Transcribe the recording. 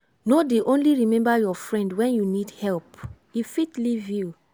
no dey only remember your friend wen you need help e fit leave you.